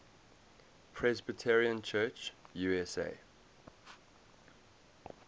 presbyterian church usa